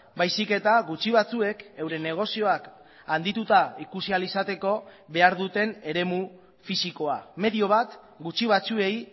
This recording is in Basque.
baizik eta gutxi batzuek euren negozioak handituta ikusi ahal izateko behar duten eremu fisikoa medio bat gutxi batzuei